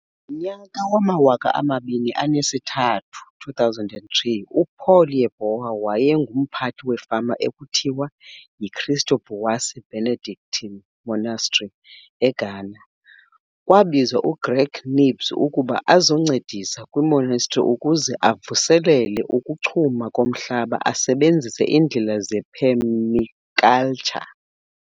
Ngonyaka wamawaka amabini enesithathu, 2003, uPaul Yeboah wayengumphathi wefama ekuthiwa yiKristo Buase Benedctine Monastery eGhana. Kwabizwa uGreg Knibbs ukuba azoncedisi kwiMonastery ukuze avuselele ukuchuma komhlaba esebenzise indlela zephemikaltsha.